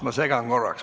Ma segan korraks.